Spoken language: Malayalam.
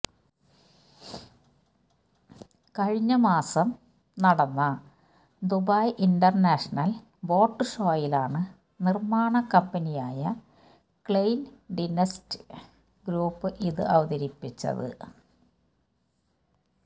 കഴിഞ്ഞ മാസം നടന്ന ദുബൈ ഇന്റര്നാഷ്ണല് ബോട്ട് ഷോയിലാണ് നിര്മാണ കമ്പനിയായ ക്ലെയിന്ഡിന്സ്റ്റ് ഗ്രൂപ്പ് ഇത് അവതരിപ്പിച്ചത്